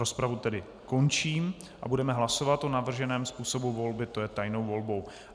Rozpravu tedy končím a budeme hlasovat o navrženém způsobu volby, to je tajnou volbou.